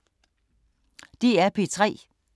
DR P3